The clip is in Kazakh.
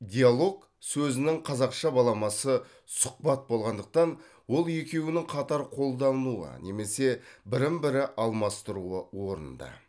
диалог сөзінің қазақша баламасы сұхбат болғандықтан ол екеуінің қатар қолдануы немесе бірін бірі алмастыруы орынды